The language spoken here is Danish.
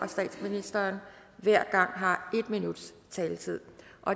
og statsministeren hver gang har en minuts taletid